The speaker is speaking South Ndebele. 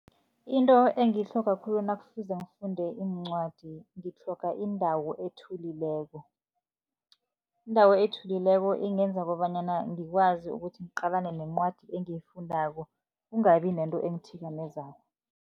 Into engiyitlhoga khulu nakufuze ngifunde iincwadi, ngitlhoga indawo ethulileko. Indawo ethulileko ingenza kobanyana, ngikwazi ukuthi ngiqalane nencwadi engiyifundako, kungabi nento engithikamezako.